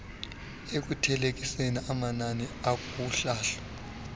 ekuthelekiseni amanani kuhlahlo